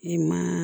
I ma